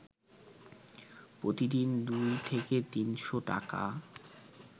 প্রতিদিন দুই থেকে তিনশ টাকা